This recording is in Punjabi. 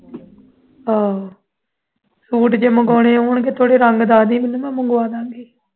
ਆਹੋ ਸੂਟ ਜੇ ਮੰਗਵਾਣੇ ਹੋਣ ਥੋੜੇ ਰੰਗ ਮੈਨੂੰ ਦੱਸ ਦਈ ਮੈਂ ਤੈਨੂੰ ਮੰਗਵਾ ਦਿਆਂਗੀ